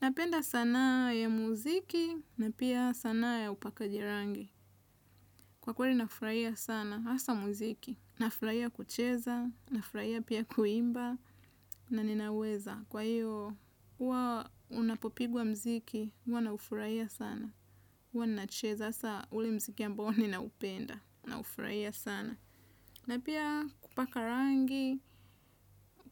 Napenda sanaa ya muziki na pia sanaa ya upakaji rangi. Kwa kweli nafurahia sana hasa muziki. Nafurahia kucheza nafurahia pia kuimba na ninaweza kwa hiyo huwa unapopigwa muziki huwa nafurahia sana huwa ninacheza saa ule muziki ambao ninaupenda. Naufurahia sana. Na pia kupaka rangi